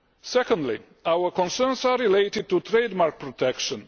Secondly, our concerns are related to trademark protection.